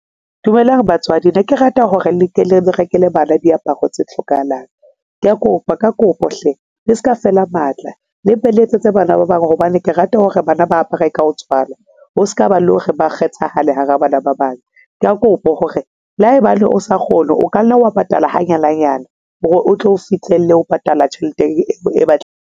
Dumelang batswadi, ne ke rata hore le tle le rekele bana diaparo tse hlokahalang. Kea kopa ka kopo hle le seka fela matla le mpe le etsetse bana ba bang, hobane ke rata hore bana ba apare ka ho tswana. Ho s'kaba le o re ba kgethahala hara bana ba bang. Ka kopo hore le haebane o sa kgone o ka nna wa patala hanyane hanyane hore o tlo fihlelle ho patala tjhelete eo e batle.